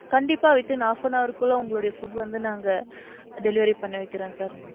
கண்டிப்பா within half an hour க்குள்ள உங்களுடைய food வந்து நாங்க delivery பண்ண வைக்கிறேன் sir.